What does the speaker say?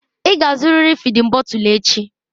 Ị ga-azụrịrị fịdin bọtul echi!